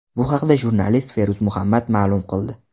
Bu haqda jurnalist Feruz Muhammad ma’lum qildi.